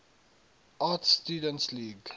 art students league